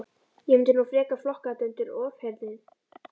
Ég mundi nú frekar flokka þetta undir ofheyrnir.